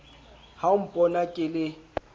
ha o mpona ke le